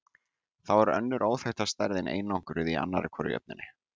Þá er önnur óþekkta stærðin einangruð í annarri hvorri jöfnunni.